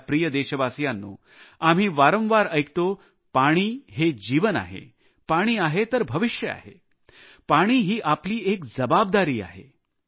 माझ्या प्रिय देशवासियांनो आम्ही वारंवार ऐकतो पाणी हे जीवन आहे पाणी आहे तर भविष्य आहे पाणी ही आपली एक जबाबदारी आहे